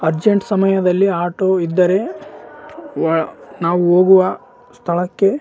urgent ಸಮಯದಲ್ಲಿ auto ಇದ್ದರೆ ವಾ ನಾವು ಹೋಗುವ ಸ್ಥಳಕ್ಕೆ --